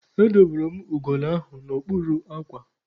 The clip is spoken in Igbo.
Edobere m ugolo ahụ n'okpuru akwa.